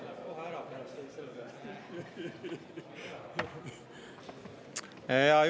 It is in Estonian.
Hea juhataja!